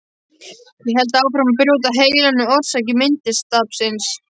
Ég held áfram að brjóta heilann um orsakir minnistapsins.